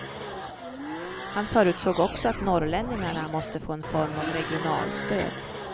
Han förutsåg också att norrlänningarna måste få en form av regionalstöd.